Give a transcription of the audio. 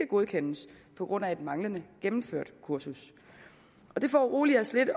godkendes på grund af manglende gennemførelse kursus det foruroliger os lidt